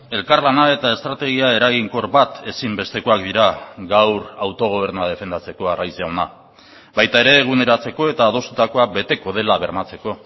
elkarlana eta estrategia eraginkor bat ezinbestekoak dira gaur autogobernua defendatzeko arraiz jauna baita ere eguneratzeko eta adostutakoa beteko dela bermatzeko